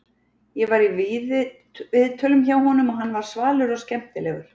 Ég var í viðtölum hjá honum og hann var svalur og skemmtilegur.